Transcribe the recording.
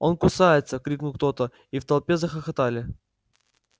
он кусается крикнул кто-то и в толпе захохотали